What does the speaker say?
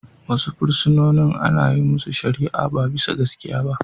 Wasu fursunonin ana yin masu shari'a ba bisa gaskiya ba.